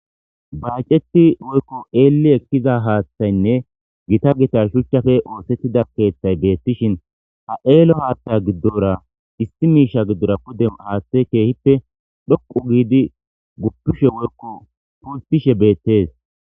Baceti woykon elli ekiza hathayne Gita Gita shuchappe othetida kethay betishin ha ello haththa gidora issi misha gidora haththey kehippe dhuqu gidi gupishe woykon pulttishe betes